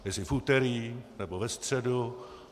Jestli v úterý, nebo ve středu?